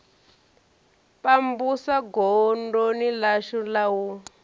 pambusa godoni ḽashu la u